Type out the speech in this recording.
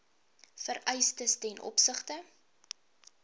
vereistes ten opsigte